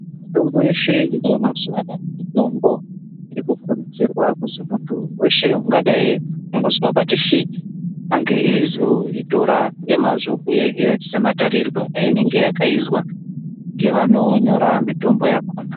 Mitombo yeshe iriyo mazuwano anaya mitombo irikukuridzirwa kuzi munhu weshe ungadai andozwa pati svi ange aizoitora ngemazvo uyehe nematarirwe ainenge yakaizwa nevanonyora mitombo yakona.